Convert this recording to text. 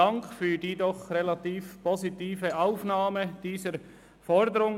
Dank für die doch relativ positive Aufnahme dieser Forderung.